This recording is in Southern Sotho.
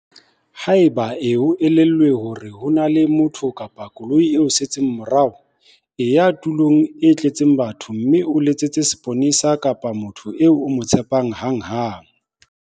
Haeba e o elellwa hore ho na le motho kapa koloi e o setseng morao, e ya tulong e tletseng batho mme o letsetse seponesa kapa motho eo o mo tshepang hanghang.